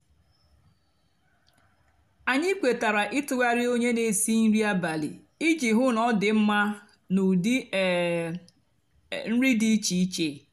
ányị kwetara ịtụgharị ónyé nà-èsi nri abálị íjì hú ná ọ dị mmá nà údị um nri dị íchéíché.